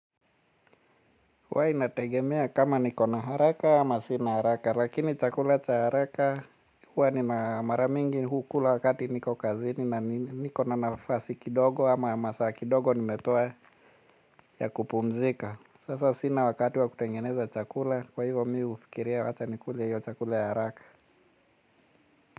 Huwa inategemea kama niko na haraka ama sina haraka lakini chakula cha haraka huwa nina mara mingi hukula wakati niko kazini na niko na nafasi kidogo ama masaa kidogo nimepewa ya kupumzika. Sasa sina wakati wa kutengeneza chakula kwa hivyo mimi hufikiria wacha nikule hiyo chakula ya haraka.